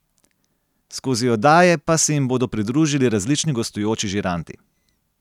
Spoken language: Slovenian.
Skozi oddaje pa se jima bodo pridružili različni gostujoči žiranti.